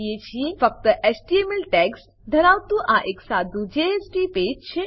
ફક્ત HTML tags HTML ટેગો ધરાવતું આ એક સાદુ જેએસપી પેજ જેએસપી પુષ્ઠ છે